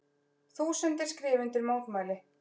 Þúsundir skrifa undir mótmæli